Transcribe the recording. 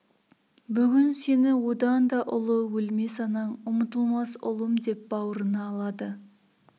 бүгін сені одан да ұлы өлмес анаң ұмытылмас ұлым деп бауырына алады